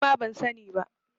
Nima ban sani ba.